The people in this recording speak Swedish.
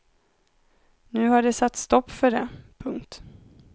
Nu har det satts stopp för det. punkt